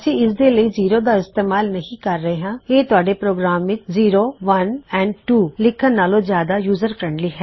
ਅਸੀਂ ਇਸ ਦੇ ਲਈ ਜ਼ੀਰੋ ਦਾ ਇਸਤੇਮਾਲ ਨਹੀ ਕਰ ਰਹੇ ਉਹ ਜਿਆਦਾ ਯੂਜਰ ਫ਼ਰੈੱਨਡਲਿ ਹੈ ਤੁਹਾਡੇ ਪ੍ਰੋਗਰਾਮ ਲਈ ਬਜਾਏ ਜ਼ੀਰੋ ਇੱਕ ਦੋzeroਓਨੇ ਐਂਡ ਤਵੋ ਦੇ ਕਹਿਣ ਤੋਂ